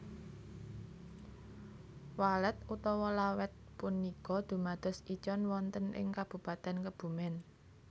Walet utawa Lawet punika dumados icon wonten ing Kabupaten Kebumen